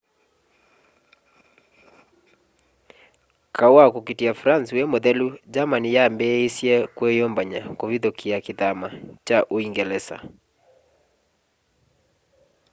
kaũ wa kũũkitĩa france wĩ mũthelu germany yaambĩsye kwiyũmbany'a kuvithukia kithama kya uungelesa